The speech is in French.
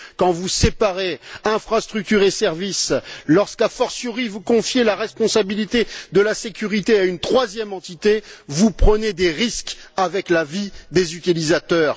Quand vous séparez infrastructures et services, lorsqu'a fortiori, vous confiez la responsabilité de la sécurité à une troisième entité, vous prenez des risques avec la vie des utilisateurs.